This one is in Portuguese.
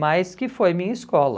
Mas que foi minha escola.